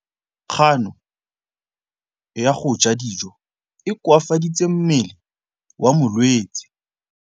Kganô ya go ja dijo e koafaditse mmele wa molwetse.